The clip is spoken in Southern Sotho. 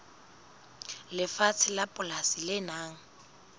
lefatshe la polasi le nang